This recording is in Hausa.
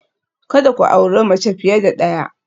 Kada ku auri mace fiye da ɗaya